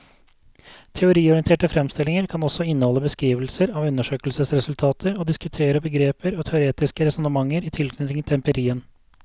Teoriorienterte fremstillinger kan også inneholde beskrivelser av undersøkelsesresultater og diskutere begreper og teoretiske resonnementer i tilknytning til empirien.